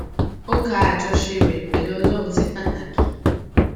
ó ka àjọṣe rè pèlú ọlórun sí pàtàkì